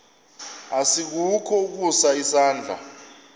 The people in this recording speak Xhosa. asikukho ukusa isandla